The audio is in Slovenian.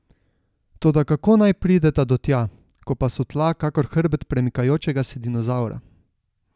Toda kako naj prideta do tja, ko pa so tla kakor hrbet premikajočega se dinozavra?